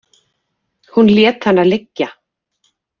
Hún lét hana liggja.